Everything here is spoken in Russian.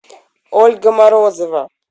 ольга морозова